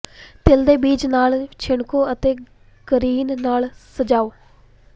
ਤਿਲ ਦੇ ਬੀਜ ਨਾਲ ਛਿੜਕੋ ਅਤੇ ਗਰੀਨ ਨਾਲ ਸਜਾਓ